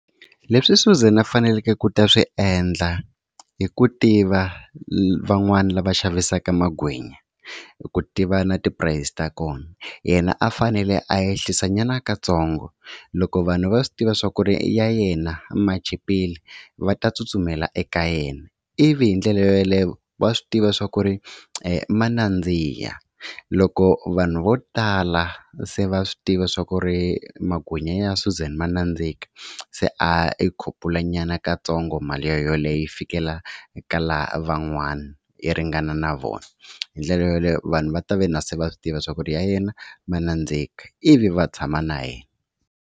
Leswi Suzan a faneleke ku ta swi endla hi ku tiva van'wani lava xavisaka magwinya i ku tiva na ti-price ta kona yena a fanele a ehlisa nyana katsongo, loko vanhu va swi tiva swa ku ri ya yena ma chipile va ta tsutsumela eka yena ivi hi ndlela yeleyo wa swi tiva swa ku ri ma nandziha loko vanhu vo tala se va swi tiva swa ku ri magwinya ya Suzan ma nandzika se a ya i khupulanyana katsongo mali yoleyo yi fikela ka lavan'wana yi ringana na vona. Hi ndlela yoleyo vanhu va ta ve na se va swi tiva swa ku ri ya yena ma nandzika ivi va tshama na yena.